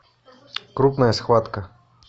крупная схватка